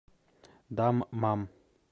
даммам